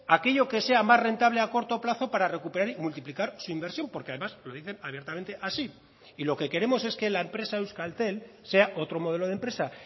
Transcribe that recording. aquello que sea más rentable a corto plazo para recuperar y multiplicar su inversión porque además lo dicen abiertamente así y lo que queremos es que la empresa euskaltel sea otro modelo de empresa